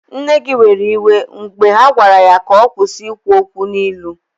Nne gị were iwe mgbe ha gwara ya ka ọ kwụsị ikwu okwu n'ilu